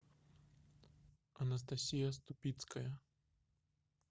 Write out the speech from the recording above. анастасия ступицкая